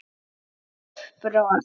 Stíf brot.